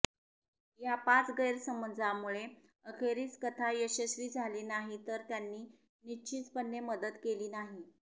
या पाच गैरसमजांमुळे अखेरीस कथा यशस्वी झाली नाही तर त्यांनी निश्चितपणे मदत केली नाही